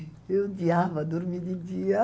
Eu odiava dormir de dia.